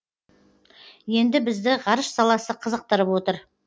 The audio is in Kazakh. енді бізді ғарыш саласы қызықтырып отыр